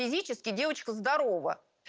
физически девочка здорова